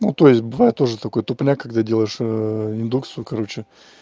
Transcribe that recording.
ну то есть бывает тоже такое тупняк когда делаешь индукцию короче